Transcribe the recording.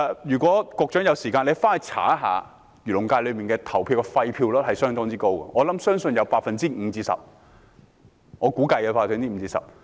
如果局長有時間，可以查看一下，漁農界的廢票率是相當高的，我估計有 5% 至 10%。